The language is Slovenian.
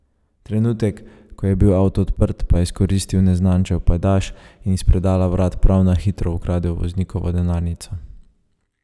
Trenutek, ko je bil avto odprt, pa je izkoristil neznančev pajdaš in iz predala vrat prav na hitro ukradel voznikovo denarnico.